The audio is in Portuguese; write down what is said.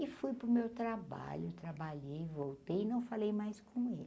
E fui para o meu trabalho, trabalhei, voltei e não falei mais com ele.